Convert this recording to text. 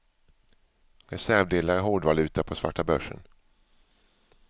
Reservdelar är hårdvaluta på svarta börsen.